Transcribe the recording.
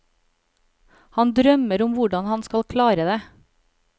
Han drømmer om hvordan han skal klare det.